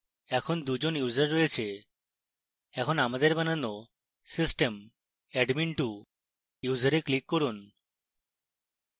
এখন 2 জন users রয়েছে এখন আমাদের বানানো system admin2 ইউসারে click করুন